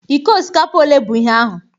Ike osikapa ole bụ ihe ahụ?